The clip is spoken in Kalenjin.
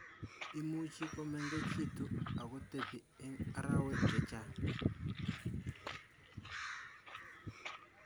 Imuchii komemgechitu akotepi eng arawek chechaang